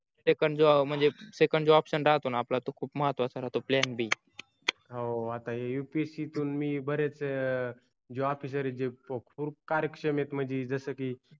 second जो म्हणजे second जो option राहतो णा आपलातो खुप महत्वाचा राहतो plan b हो आता हे upsc मी बरेच जे officer जी खूप कार्यक्षम आहे म्हणजे जस की